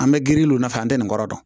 An bɛ girin olu fɛ an tɛ nin kɔrɔ dɔn